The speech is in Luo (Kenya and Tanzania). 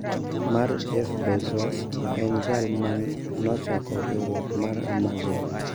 Mar Jeff Bezos, ma en jal ma nochako riwruok mar Amazon.